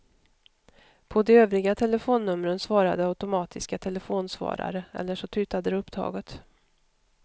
På de övriga telefonnumren svarade automatiska telefonsvarare eller så tutade det upptaget.